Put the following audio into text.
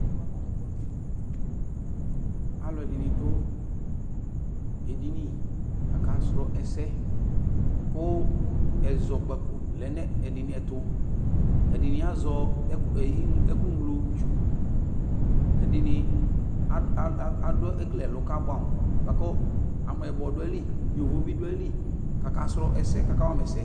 Aluɛdini nidu edini aka srɔ ɛsɛ Ku ɛzɔkpako lɛ nu ɛdinitu Ɛdini azɛ ɛkuglotsu Ɛdini ekele ɛlu kabuamu buaku amɛyibɔ duayili yovo biduayili kakawama ɛsɛ